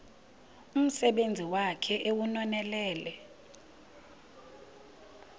umsebenzi wakhe ewunonelele